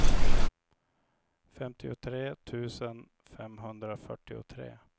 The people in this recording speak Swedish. femtiotre tusen femhundrafyrtiotre